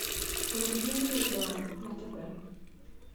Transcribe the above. вруби звезда на тв